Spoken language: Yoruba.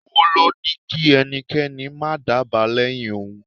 Owó ló ní kí ẹnikẹ́ni má dábàá lẹ́yìn òun.